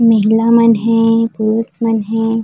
महिला मन हे पुरुष मन हे।